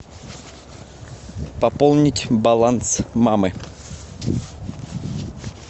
пополнить баланс мамы